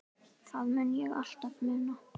Það mun ég alltaf muna.